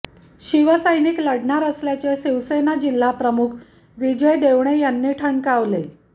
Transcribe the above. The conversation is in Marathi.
शिवसैनिक लढणारा असल्याचे शिवसेना जिल्हाप्रमुख विजय देवणे यांनी ठणकावले